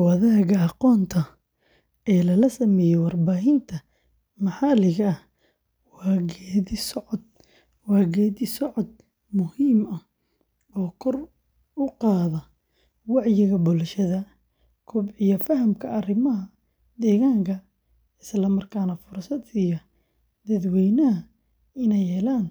Wadaagga aqoonta ee lala sameeyo warbaahinta maxalliga ah waa geeddi-socod muhiim ah oo kor u qaada wacyiga bulshada, kobciya fahamka arrimaha deegaanka, islamarkaana fursad siiya dadweynaha inay helaan